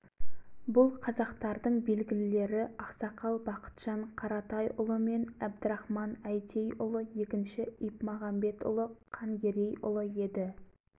өзгесі жымпиты маңайында алашорда төңірегінде қалды қасаболатұлы мырзағалиұлы әлиасқар әлібекұлы орал қаласына келді ол кезде жыл